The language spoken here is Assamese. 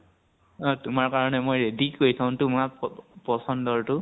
অ । তোমাৰ কাৰণে মই ready কৰি থʼম । তোমাৰ প পছন্দৰ তো